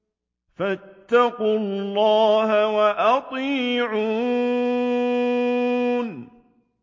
فَاتَّقُوا اللَّهَ وَأَطِيعُونِ